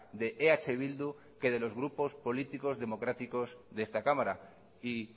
de eh bildu que de los grupos políticos democráticos de esta cámara y